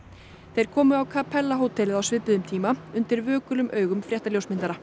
þeir komu á Capella hótelið á svipuðum tíma undir vökulum augum